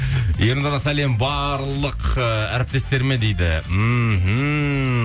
ернұрға сәлем барлық ыыы әріптестеріме дейді мхм